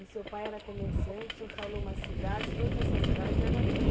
E seu pai era comerciante, o senhor falou uma cidade, todas essas cidades eram aqui,